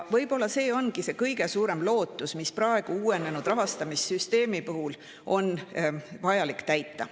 Võib-olla see ongi kõige suurem ootus, mida praegu uuenenud rahastamissüsteemil on vaja täita.